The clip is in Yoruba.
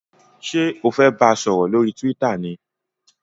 ṣe o fè bá sòrò lórí twitter ní?